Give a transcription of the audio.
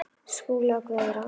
Skúli og Guðrún.